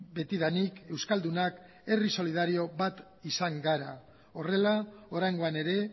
betidanik euskaldunak herri solidario bat izan gara horrela oraingoan ere